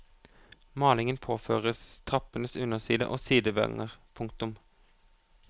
Malingen påføres trappens underside og sidevanger. punktum